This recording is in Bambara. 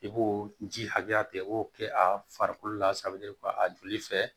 I b'o ji hakɛya tigɛ i b'o kɛ a farikolo lasabali kɔ a joli fɛ